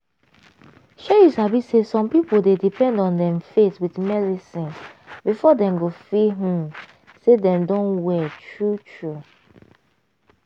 shey you sabi say some pipo dey depend on dem faith with melecine before dem go feel hmmm say dem don well true true.